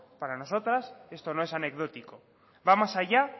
para nosotras esto no es anecdótico va más allá